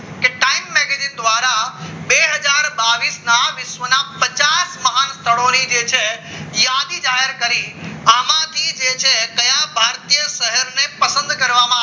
દ્વારા બે હજાર બાવીસ ના વિશ્વના પચાસ પાચ સ્થળોની જે છે યાદી જાહેર કરી આમાંથી જે છે કયા ભારતીય શહેરને પસંદ કરવામાં આવ્યું